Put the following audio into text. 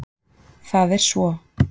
Það er svo.